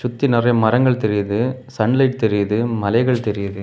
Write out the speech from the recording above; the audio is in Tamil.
சுத்தி நிறைய மரங்கள் தெரியுது சன் லைட் தெரியுது மலைகள் தெரியுது.